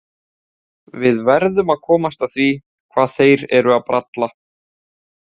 Við verðum að komast að því hvað þeir eru að bralla